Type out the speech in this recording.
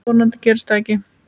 Vonandi gerist það ekki.